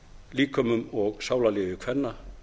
líkömum og sálarlífi kvenna